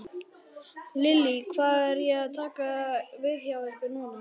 Lillý: Hvað er að taka við hjá ykkur núna?